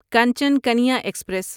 Kanchan Kanya express